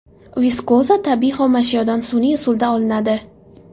Viskoza tabiiy xomashyodan sun’iy usulda olinadi.